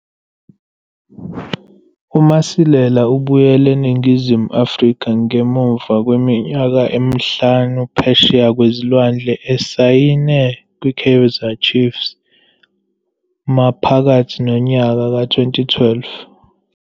UMasilela ubuyele eNingizimu Afrika ngemuva kweminyaka emihlanu phesheya kwezilwandle esayine kwiKaizer Chiefs maphakathi nonyaka ka-2012.